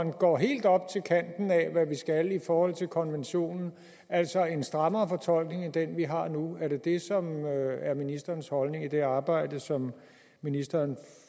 går helt op til kanten af hvad vi skal i forhold til konventionen altså en strammere fortolkning end den vi har nu er det dét som er ministerens holdning til det arbejde som ministeren